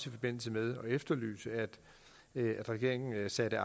i forbindelse med at vi efterlyste at regeringen satte